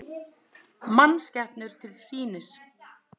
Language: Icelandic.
Mannskepnur til sýnis